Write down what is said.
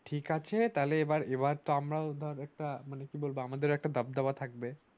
ঠিকআছে তাইলে এবার এবার তো আমারা ও একটা মানে কি বলবো আমাদের ও একটা দাবি দাওয়া থাকবে